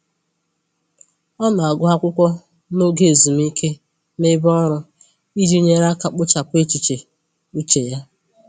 Ọ na-agụ akwụkwọ n'oge ezumike n'ebe ọrụ iji nyere aka kpochapụ echiche uche ya